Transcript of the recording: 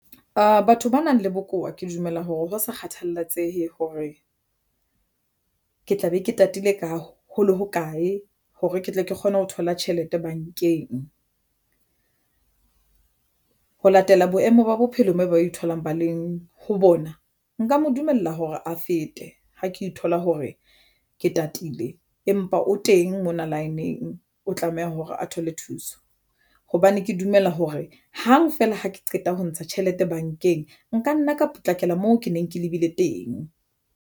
Batho ba nang le bokowa ke dumela hore ha ho sa kgathalatsehe hore ke tla be ke tatile ka hole ho kae hore ke tle ke kgone ho thola tjhelete bankeng ho latela boemo ba bophelo mme ba e tholang, ba leng ho bona nka mo dumella hore a fete ha ke thola hore ke tatile, empa o teng nyalaneng o tlameha hore a thole thuso hobane ke dumela hore hang feela ha ke qeta ho ntsha tjhelete bankeng, nka nna ka potlakela moo ke neng ke lebile teng.